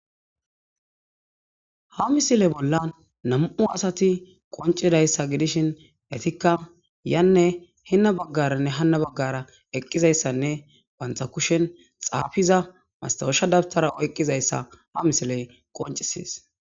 Ha misile bolla nam'u asati qoncidayssa gidishin hetikka yanne hinna baggaranne hanna baggara eqqizayssanne bantha kushen xaafiza mastausha dabtara oyqqizayssa ha misiley qoncisees.